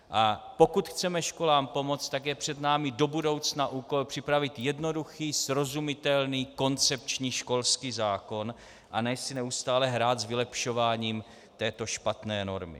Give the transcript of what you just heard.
A pokud chceme školám pomoct, tak je před námi do budoucna úkol připravit jednoduchý, srozumitelný, koncepční školský zákon, a ne si neustále hrát s vylepšováním této špatné normy.